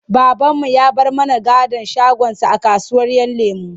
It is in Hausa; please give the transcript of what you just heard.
Babanmu ya bar mana gadon shagonsa a kasuwar ‘Yan lemo.